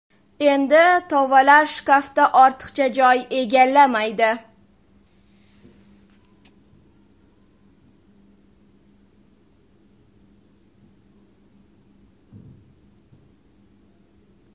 Endi tovalar shkafda ortiqcha joy egallamaydi”.